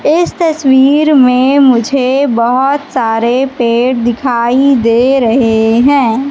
इस तस्वीर में मुझे बहोत सारे पेड़ दिखाई दे रहे हैं।